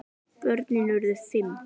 Börnin urðu fimm.